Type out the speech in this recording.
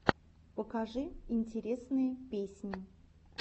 покажи интересные песни